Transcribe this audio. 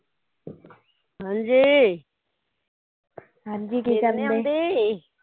ਹਾਂਜੀ ਨੀਂਦ ਨੀ ਆਉਂਦੀ